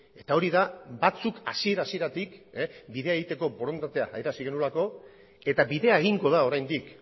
eta hori da batzuk hasiera hasieratik bidea egiteko borondatea adierazi genuelako eta bidea egingo da oraindik